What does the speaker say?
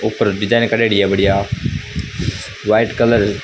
ऊपर डिजाइन करेड़ी है बढ़िया व्हाइट कलर --